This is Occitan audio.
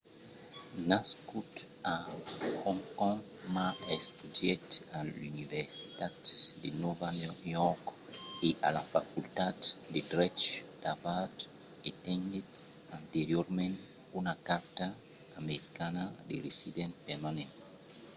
nascut a hong kong ma estudièt a l’universitat de nòva york e a la facultat de drech d'harvard e tenguèt anteriorament una carta verda americana de resident permanent